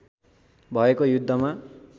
भएको युद्धमा